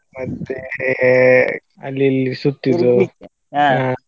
ಮತ್ತೆ ಅಲ್ಲಿ ಇಲ್ಲಿ ಸುತ್ತಿದ್ದು.